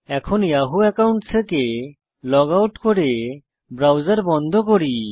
এখন Yahoo account থেকে log out করে ব্রাউজার বন্ধ করুন